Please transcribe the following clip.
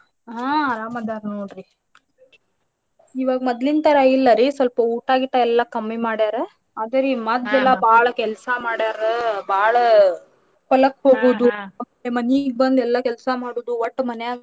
ಹಾ ಅರಾಮ್ ಅದಾರ್ ನೋಡ್ರಿ ಇವಾಗ ಮದ್ಲಿನ ತರಾ ಇಲ್ಲಾರಿ ಸ್ವಲ್ಪ ಊಟಾ ಗೀಟಾ ಎಲ್ಲಾ ಕಮ್ಮಿ ಮಾಡ್ಯಾರ ಅದರ ರೀ ಮದ್ಲ ಎಲ್ಲಾ ಬಾಳ್ ಕೆಲ್ಸಾ ಮಾಡ್ಯಾರ ಬಾಳ್ ಹೊಲಕ್ಕ್ ಹೋಗುದು ಮನಿಗ ಬಂದ್ ಎಲ್ಲಾ ಕೆಲ್ಸಾ ಮಾಡುದು ಒಟ್ಟ ಮನ್ಯಾಗ್.